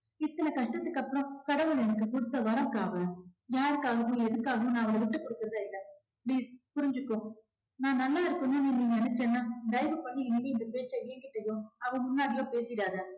இத்தன கஷ்டத்துக்கு அப்புறம் கடவுள் எனக்கு குடுத்த வரம் அக்கா அவ யாருக்காகவும் எதுக்காகவும் நான் அவளை விட்டுக் கொடுக்கிறதா இல்லை please புரிஞ்சுக்கோ. நான் நல்லா இருக்கணும்னு நீ நினைச்சன்னா தயவு பண்ணி இனிமே இந்த பேச்ச ஏன்கிட்டயோ அவ முன்னாடியோ பேசிடாத